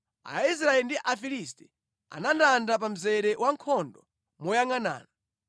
Aisraeli ndi Afilisti anandanda pa mzere wankhondo moyangʼanana.